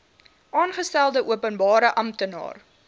aangestelde openbare amptenaar